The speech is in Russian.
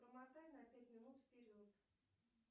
промотай на пять минут вперед